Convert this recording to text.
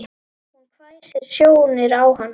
Hún hvessir sjónir á hann.